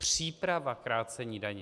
Příprava krácení daně.